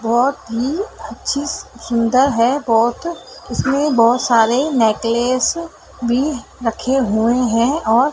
बहुत ही अच्छी स सुंदर है बहुत इसमें बहुत सारे नेकलेस भी रखे हुए हैं और--